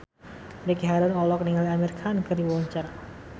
Ricky Harun olohok ningali Amir Khan keur diwawancara